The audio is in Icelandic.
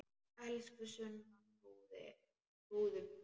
Elsku Sunna, trúðu mér!